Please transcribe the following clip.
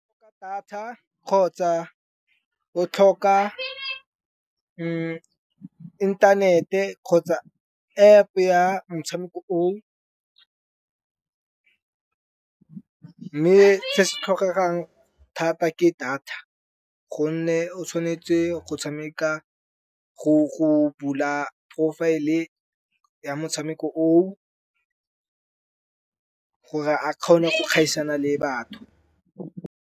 Data kgotsa o tlhoka inthanete kgotsa App-e ya motshameko o, mme se se tlhokegang thata ke data. Gonne o tshwanetse go tshameka go bula profile-e ya motshameko o gore a kgone go kgaisana le batho.